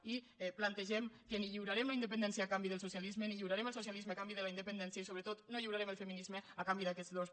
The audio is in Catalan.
i plantegem que ni lliurarem la independència a canvi del socialisme ni lliurarem el socialisme a canvi de la independència i sobretot no lliurarem el feminisme a canvi d’aquests dos